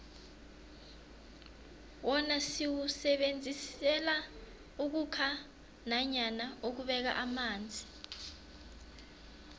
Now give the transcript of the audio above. wona siwusebenzisela ukhukha nanyana ukubeka amanzi